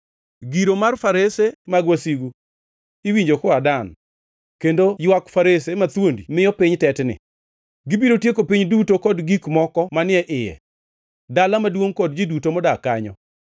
Giro mar farese mag wasigu iwinjo koa Dan; kendo ywak farese mathuondi miyo piny tetni. Gibiro tieko piny duto kod gik moko manie iye, dala maduongʼ kod ji duto modak kanyo.